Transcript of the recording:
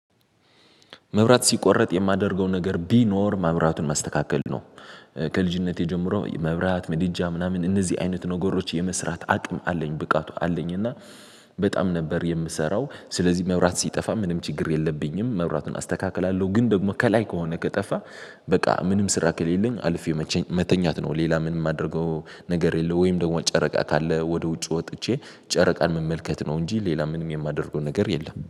መብራት ሲቆረጥ የማደርገው ነገር ቢኖር መብራቱን ማስተካከል ነው። ከልጅነቴ ጀምሮ መብራት ምድጃ ምናምን እነዚህ አይነት ነገሮች የመስራት አቅም አለኝ ብቃቱ አለኝ። እና በጣም ነበር የምሰራው ስለዚህ መብራት ሲጠፋ ምንም ችግር የለብኝም መብራቱን አስተካክላለሁ። ግን ደግሞ ከላይ ከሆነ ከጠፋ። በቃ ምንም ስራ ከሌለኝ አልፌ መቼም መተኛት ነው ሌላ ምን የማደርገው ነገር የለው። ወይም ደግሞ ጨረቃ ካለ ወደ ውጭ ወጥቼ ጨረቃን መመልከት ነው። እንጂ ሌላ ምንም የማደርገው ነገር የለም